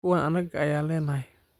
Kuwan anaga ayanlanhy.